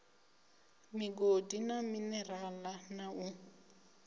migodi na minerale na u